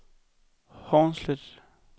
Hornslet